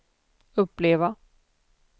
uppleva